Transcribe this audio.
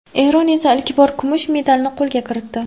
Eron esa ilk bor kumush medalni qo‘lga kiritdi.